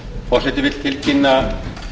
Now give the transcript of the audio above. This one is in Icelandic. forseti vill tilkynna